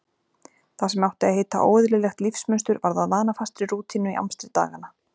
Það sem átti að heita óeðlilegt lífsmunstur varð að vanafastri rútínu í amstri daganna.